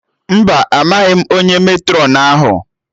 Mba, amaghị m onye Matrọn ahụ